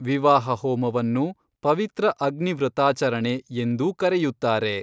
ವಿವಾಹ ಹೋಮವನ್ನು, ಪವಿತ್ರ ಅಗ್ನಿ ವ್ರತಾಚರಣೆ, ಎಂದೂ ಕರೆಯುತ್ತಾರೆ.